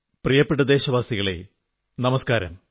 പ്രിയപ്പെട്ട ദേശവാസികളേ നമസ്കാരം